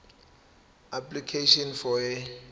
application for a